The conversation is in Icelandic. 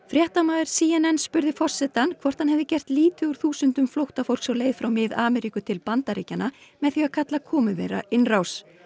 fréttamaður c n n spurði forsetann hvort hann hafi gert lítið úr þúsundum flóttafólks á leið frá Mið Ameríku til Bandaríkjanna með því að kalla komu þeirra innrás